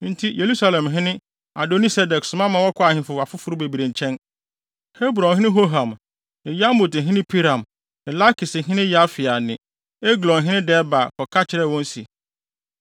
Enti Yerusalemhene Adoni-Sedek soma ma wɔkɔɔ ahemfo afoforo bebree nkyɛn: Hebronhene Hoham ne Yarmuthene Piram ne Lakishene Yafia ne Eglonhene Debir kɔka kyerɛɛ wɔn se,